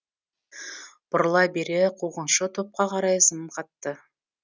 бұрыла бере қуғыншы топқа қарай зымғатты